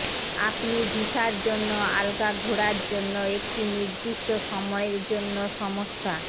আপনি ভিসার জন্য আলগা ঘোড়া জন্য একটি নির্দিষ্ট সময়ের জন্য সমস্যা